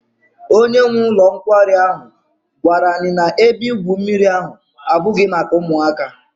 Onye nwe ụlọ nkwari ahụ gwara anyị na ebe igwu mmiri ahụ abụghị maka ụmụaka.